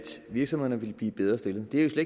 virksomhederne vil blive bedre stillet det er jo